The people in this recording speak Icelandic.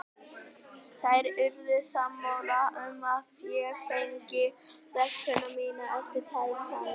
Þær urðu sammála um að ég fengi stelpuna mína eftir tæpan mánuð.